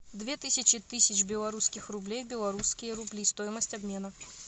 две тысячи тысяч белорусских рублей в белорусские рубли стоимость обмена